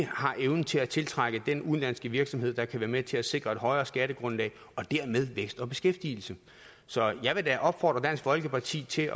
har evnen til at tiltrække udenlandske virksomheder der kan være med til at sikre et højere skattegrundlag og dermed vækst og beskæftigelse så jeg vil da opfordre dansk folkeparti til